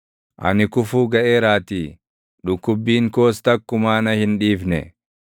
Ani kufuu gaʼeeraatii; dhukkubbiin koos takkumaa na hin dhiifne.